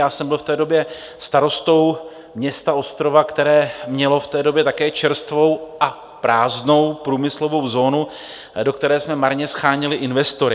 Já jsem byl v té době starostou města Ostrova, které mělo v té době také čerstvou a prázdnou průmyslovou zónu, do které jsme marně sháněli investory.